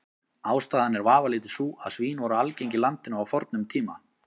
Ástæðan er vafalítið sú að svín voru algeng í landinu á fornum tíma.